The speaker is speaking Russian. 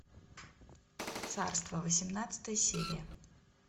царство восемнадцатая серия